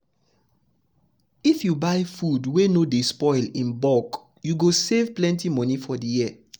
if you buy food wey no dey spoil in bulk you go save plenty money for the year.